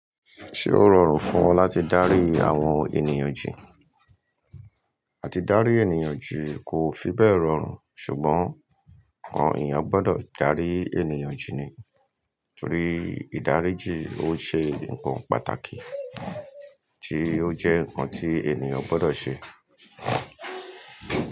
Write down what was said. Ṣé ó rọrùn fún ọ láti dárí àwọn ènìyàn jì? Àti dárí ènìyàn jì kò fi bẹ́ẹ̀ rọrùn ṣùgbọ́n àwọn ènìyàn gbọ́dọ̀ dárí ènìyàn jì ni. Nítorí ìdáríjì ó ṣe nǹkan pàtàkì tí ó jẹ́ nǹkan tí ènìyàn gbọ́dọ̀ ṣe.